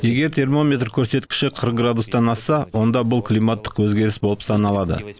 егер термометр көрсеткіші қырық градустан асса онда бұл климаттық өзгеріс болып саналады